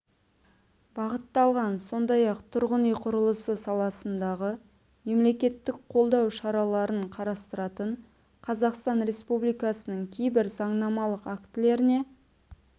бағытталған сондай-ақ тұрғын үй құрылысы саласындағы мемлекеттік қолдау шараларын қарастыратын қазақстан республикасының кейбір заңнамалық актілеріне